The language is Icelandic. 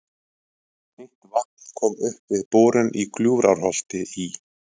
Heitt vatn kom upp við borun í Gljúfurárholti í